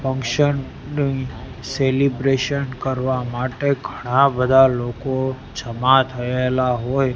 function celebration કરવા માટે ઘણા બધા લોકો જમા થયેલા હોય--